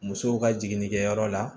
Musow ka jiginni kɛyɔrɔ la